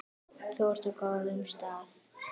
Þú ert á góðum stað.